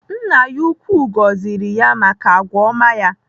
Nna ya ukwuu gọziri ya maka agwa ọma ya.